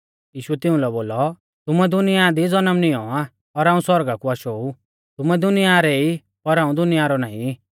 यीशुऐ तिउंलै बोलौ तुमुऐ दुनिया दी जनम नियौं आ और हाऊं सौरगा कु आशौ ऊ तुमै दुनिया रै ई पर हाऊं दुनिया रौ नाईं